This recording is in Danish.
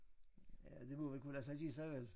Ja det må vel kunne lade sig give sig vel